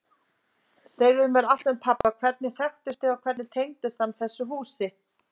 Segðu mér allt um pabba, hvernig þið þekktust og hvernig hann tengist þessu húsi.